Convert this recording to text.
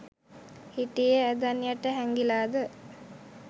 හිටියේ ඇඳන් යට හැංගිලාද?